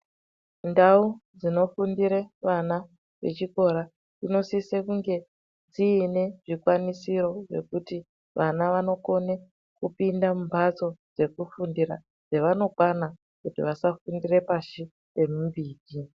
Ndau dzinofundire ana echikora dzinosise kunge dziine zvikwanisiro zvekuti vana vanokone kupinda mumbatso dzekufundira dzevanokwana kuti vasafundire pashi pemuti.